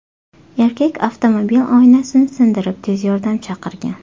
Erkak avtomobil oynasini sindirib, tez yordam chaqirgan.